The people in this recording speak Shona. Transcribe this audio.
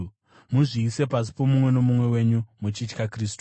Muzviise pasi pomumwe nomumwe wenyu muchitya Kristu.